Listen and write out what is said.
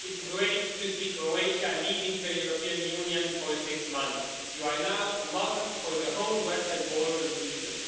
It's great to see Croatia leading the European Union for six months. You are now a model for the whole Western Balkans region.